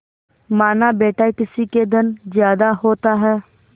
मानाबेटा किसी के धन ज्यादा होता है